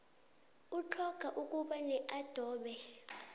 utlhoga ukuba neadobe